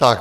Tak.